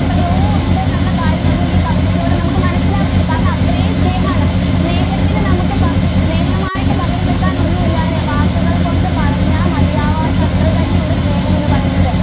എത്രയോ ഉണ്ട് എന്നുള്ള കാര്യം നമ്മൾ ഈ കവിതയിലൂടെ നമുക്ക് മനസിലാകുന്നുണ്ട് കാരണം അത്രയും സ്നേഹം ആണ് സ്നേഹത്തിനു നമുക്ക് സ്നേഹം ആയിട്ട് പകരം വെക്കാൻ ഒന്നും ഇല്ലാ അല്ലേ? വാക്കുകൾ കൊണ്ട് പറഞ്ഞാൽ മതിയാവാത്ത അത്ര തന്നെ ഉണ്ട് സ്നേഹം എന്ന് പറയുന്നത്.